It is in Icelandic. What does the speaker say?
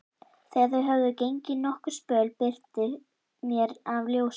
Þegar þau höfðu gengið nokkurn spöl birti meir af ljósum.